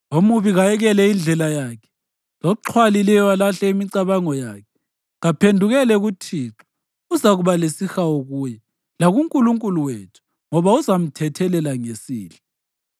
Omubi kayekele indlela yakhe loxhwalileyo alahle imicabango yakhe. Kaphendukele kuThixo, uzakuba lesihawu kuye, lakuNkulunkulu wethu ngoba uzamthethelela ngesihle.